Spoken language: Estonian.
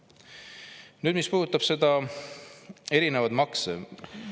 Nüüd see, mis puudutab erinevaid makse …